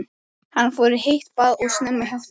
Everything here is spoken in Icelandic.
Hann fór í heitt bað og snemma í háttinn.